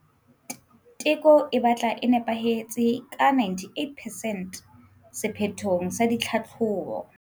Teko e batla e nepahetse ka 98 percent sephethong sa ditlhahlobo.